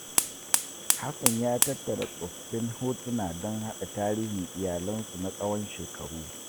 Hassan ya tattara tsoffin hotuna don hada tarihin iyalinsu na tsawon shekaru.